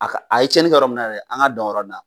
A ka a ye cɛni kɛ yɔrɔ min na yɛrɛ an ka dan o yɔrɔ in na